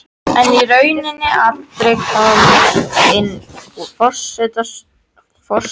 En í rauninni aldrei komist inn úr forstofunni og skótauinu.